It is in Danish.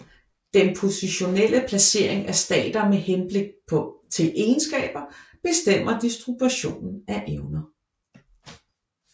Den positionelle placering af stater med hensyn til egenskaber bestemmer distributionen af evner